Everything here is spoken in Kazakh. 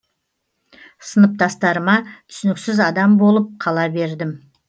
сыныптастарыма түсініксіз адам болып қала бердім